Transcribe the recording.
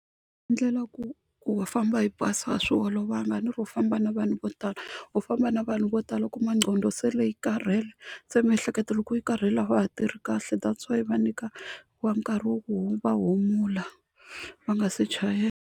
ku wa famba hi bazi a swi olovanga a ni ri u famba na vanhu vo tala u famba na vanhu vo tala u kuma nqondo se yi karhele, se miehleketo loko yi karhele a wa ha tirhi kahle that's why va nyika vanhu nkarhi wa ku va humula va nga se .